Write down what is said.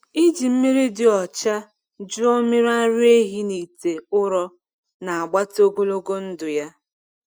Iji mmiri dị ọcha jụọ mmiri ara ehi n’ite ụrọ na-agbatị ogologo ndụ ya.